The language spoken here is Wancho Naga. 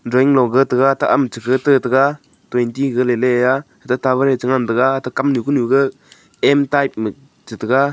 drawing loga tega taham che tetega twenty gale leya ate tower chengan tega ate kamnu kunuga m type ma type chetega.